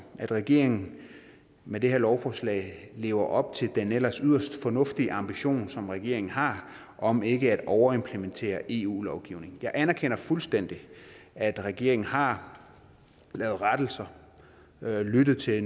at regeringen med det her lovforslag lever op til den ellers yderst fornuftige ambition som regeringen har om ikke at overimplementere eu lovgivning jeg anerkender fuldstændig at regeringen har lavet rettelser lyttet til